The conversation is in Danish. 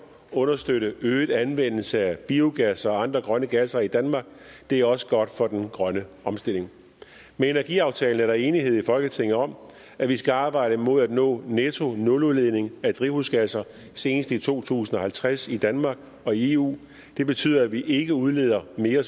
understøtte øget anvendelse af biogas og andre grønne gasser i danmark det er også godt for den grønne omstilling med energiaftalen er der enighed i folketinget om at vi skal arbejde mod at nå nettonuludledning af drivhusgasser seneste i to tusind og halvtreds i danmark og eu det betyder at vi ikke udleder mere